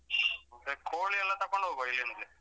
ಮತ್ತೆ ಕೋಳಿ ಎಲ್ಲ ತಕೊಂಡ್ ಹೋಗುವ ಇಲ್ಲಿಂದ್ಲೆ.